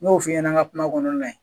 N'o f'i ɲɛnɛ an ka kuma kɔnɔna la ye.